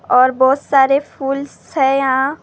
और बहुत सारे फूल स हैं यहाँ --